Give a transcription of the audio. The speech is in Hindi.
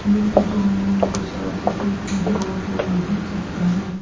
ये फोटो में हम लोगों को शायद से कोई पूजा होता हुआ दिख सकता है।